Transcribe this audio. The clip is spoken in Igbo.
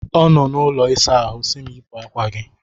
Ọ nọ n'ụlọ ịsa ahụ si m yipụ akwa gị!